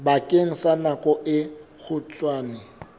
bakeng sa nako e kgutshwane